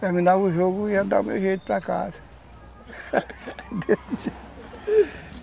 Terminava o jogo e ia dar o meu jeito para casa